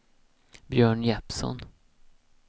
Björn Jeppsson